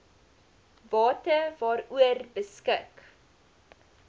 bate waaroor beskik